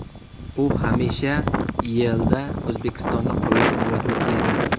U hamisha YeIda O‘zbekistonni qo‘llab-quvvatlab kelgan.